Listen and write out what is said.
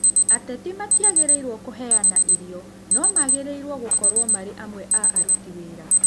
Ateti matiagĩrĩrũo kũheana irio no magĩrirwo gũkorwo marĩ amwe a arũti wĩra